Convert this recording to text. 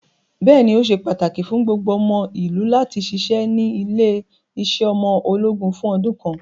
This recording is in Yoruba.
Bẹ́ẹ̀ni, ó se pàtàkì fún gbogbo ọmọ ìlú láti ṣiṣẹ́ ní ilé-iṣẹ́ ọmọ ológun fún ọdún kan.